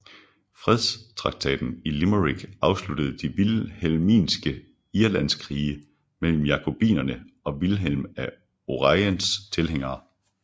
Fredstraktaten i Limerick afsluttede de Vilhelminske Irlandskrige mellem Jakobinerne og Vilhelm af Oranjes tilhængere